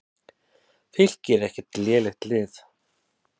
Fylkir er ekkert lélegt lið.